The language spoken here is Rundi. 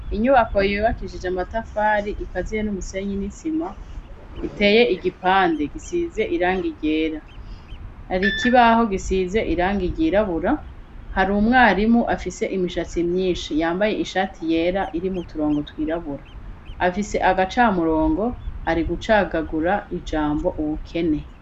Inyubako yubakijije amatafari ikazire n'umusenyi n'isima, iteye igipande gisize irangi ryera. Har'ikibaho gisize irangi ryirabura. Hari umwarimu afise imishatsi myinshi, yambaye ishati yera, irimwo uturongo twirabura. Afise agacamurongo, ariko aracagagura ijambo "ubukene."